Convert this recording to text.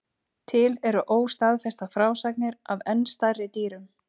Til eru óstaðfestar frásagnir af enn stærri dýrum.